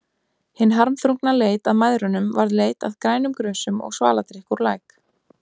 Hin harmþrungna leit að mæðrunum varð leit að grænum grösum og svaladrykk úr læk.